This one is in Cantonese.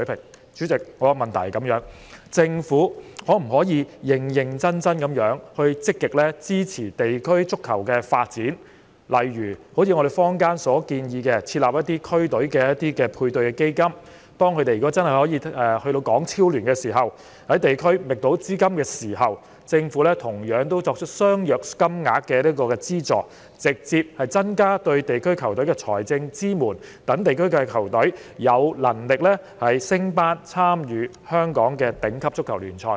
代理主席，我的補充質詢是，政府可否認真積極支持地區足球發展，例如，坊間建議為區隊設立配對基金，當它們參與港超聯及在地區覓得資金，政府便提供相若金額的資助，直接增加對區隊的財政支援，讓區隊有能力升班，參與香港的頂級足球聯賽。